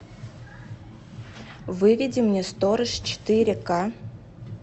выведи мне сторож четыре ка